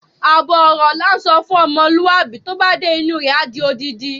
Àbọ̀ ọ̀rọ̀ la ńsọ fún ọmọlúwàbí, tó bá dé inú u rẹ̀, á di odindi.